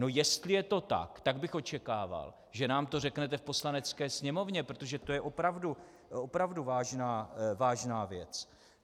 No jestli je to tak, tak bych očekával, že nám to řeknete v Poslanecké sněmovně, protože to je opravdu vážná věc.